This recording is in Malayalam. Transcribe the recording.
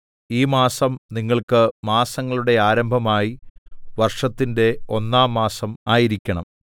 ഈ മാസം നിങ്ങൾക്ക് മാസങ്ങളുടെ ആരംഭമായി വർഷത്തിന്റെ ഒന്നാം മാസം ആയിരിക്കണം